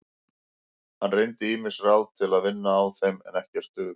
Hann reyndi ýmis ráð til að vinna á þeim en ekkert dugði.